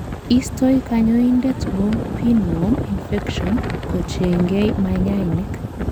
istoi kanyoindet ngung pinworm infection kochengei mayainik